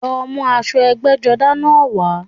Lọ mú aṣọ ẹgbẹ́jọdá náà wá